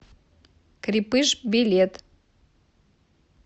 крепыж билет